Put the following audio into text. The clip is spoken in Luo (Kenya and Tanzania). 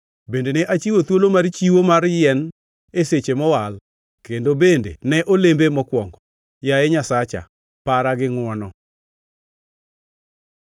Bende ne achiwo thuolo mar chiwo mar yien e seche mowal, kendo bende ne olembe mokwongo. Yaye Nyasacha, para gi ngʼwono.